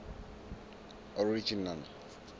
original